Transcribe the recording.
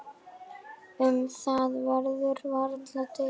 Um það verður varla deilt.